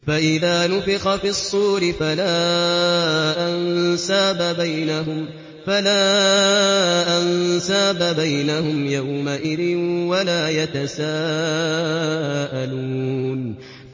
فَإِذَا نُفِخَ فِي الصُّورِ فَلَا أَنسَابَ بَيْنَهُمْ يَوْمَئِذٍ وَلَا يَتَسَاءَلُونَ